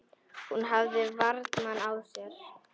Hún hafði varann á sér.